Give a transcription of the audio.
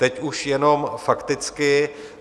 Teď už jenom fakticky.